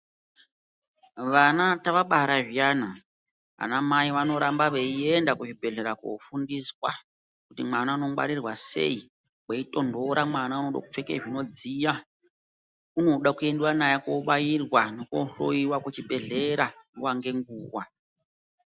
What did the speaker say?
Vana tavabara zviyana vana mai vanoramba veienda Kuzvibhedhlera kofundiswa kuti mwana unongwarirwa sei kweitonhora mwana unode kupfeke zvinodziya unoda kuendiwa naye kobairwa nekojloiwa kuchibhedhlera nguwa nenguwa.